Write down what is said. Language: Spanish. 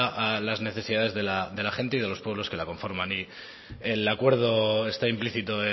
a las necesidades de la gente y de los pueblos que la conforman el acuerdo está implícito